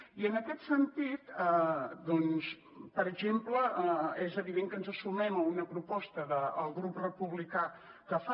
i en aquest sentit doncs per exemple és evident que ens sumem a una proposta del grup republicà que fa